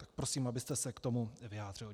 Tak prosím, abyste se k tomu vyjádřil.